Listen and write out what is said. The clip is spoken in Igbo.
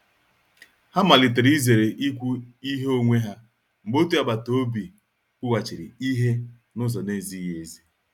Ha malitere izere ikwu ihe onwe ha mgbe otu agbata obi kwughachiri ihe n'uzo na-ezighị ezi.